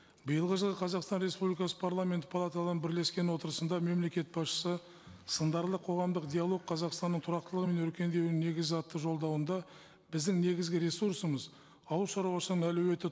биылғы жылы қазақстан республикасы парламенті палаталарының бірлескен отырысында мемлекет басшысы сындарлы қоғамдық диалог қазақстанның тұрақтылығы мен өркендеуінің негізі атты жолдауында біздің негізгі ресурсымыз ауыл шаруашылығының әлеуеті